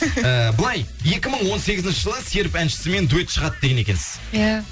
ііі былай екі мың он сегізінші жылы серп әншісімен дуэт шығады деген екенсіз иә